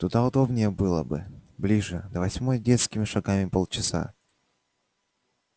туда удобнее было бы ближе до восьмой детскими шагами полчаса